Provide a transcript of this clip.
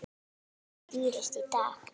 Það skýrist í dag.